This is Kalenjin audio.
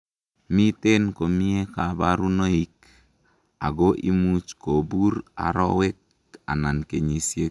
miten komie kaborunoik, ako imuch kobur arowek anan kenyisiek